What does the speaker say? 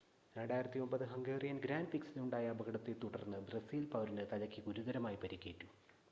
2009 Hungarian grand പ്രിക്സിൽ ഉണ്ടായ അപകടത്തെ തുടർന്ന് ബ്രസീൽ പൗരന് തലയ്ക്ക് ഗുരുതരമായി പരുക്കേറ്റു